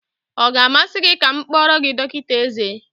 Ọ ga-amasị gị ka m kpọọrọ gị dọkịta eze?